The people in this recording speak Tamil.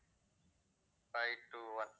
five two one